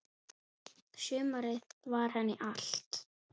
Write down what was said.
Sumarið var henni allt.